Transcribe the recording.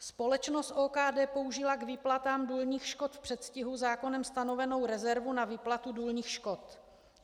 Společnost OKD použila k výplatám důlních škod v předstihu zákonem stanovenou rezervu na výplatu důlních škod.